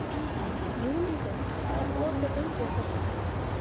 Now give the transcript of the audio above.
Júlíhuld, hvað er opið lengi á föstudaginn?